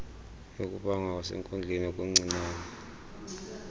yokubanga kwasenkundleni okuncincne